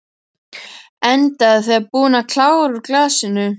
Enda þegar búin að klára úr glasinu.